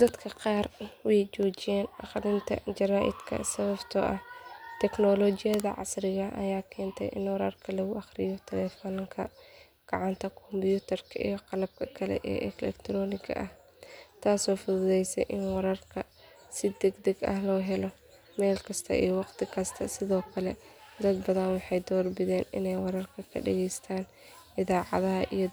Dadka qaar way joojiyeen akhrinta jaraa’idka sababtoo ah teknolojiyadda casriga ah ayaa keentay in wararka lagu akhriyo taleefanka gacanta kombiyuutarka iyo qalabka kale ee elektarooniga ah taasoo fududeysay in wararka si degdeg ah loo helo meel kasta iyo waqti kasta sidoo kale dad badan waxay doorbideen inay wararka ka dhagaystaan idaacadaha iyo